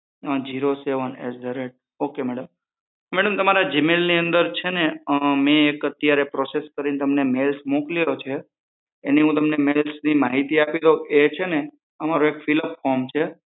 zero seven at the rate okay madam madam તમારા જીમેઈલની અંદર છે ને મેં અત્યારે process કરી ને અત્યારે એક મેઈલસ મોકલ્યો છે એની હું તમને માહિતી આપી દઉં એ છે ને અમારું એક ફિલઅપ ફોર્મ છે